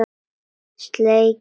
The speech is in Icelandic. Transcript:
Sleikir það af.